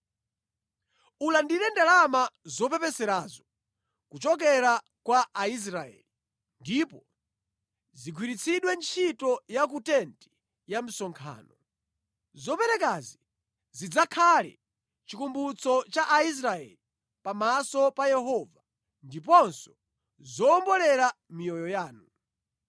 Ulandire ndalama zopepeserazo kuchokera kwa Aisraeli ndipo zigwiritsidwe ntchito ya ku tenti ya msonkhano. Zoperekazi zidzakhala chikumbutso cha Aisraeli pamaso pa Yehova, ndiponso zowombolera miyoyo yanu.”